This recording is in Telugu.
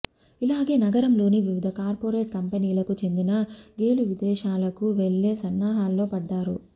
ఇలాగే నగరంలోని వివిధ కార్పొరేట్ కంపెనీలకు చెందిన గేలు విదేశాలకు వెళ్ళే సన్నాహాల్లో పడ్డారు